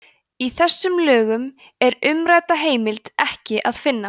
í þessum lögum er umrædda heimild ekki að finna